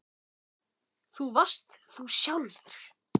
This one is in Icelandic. Þú varst þú sjálf.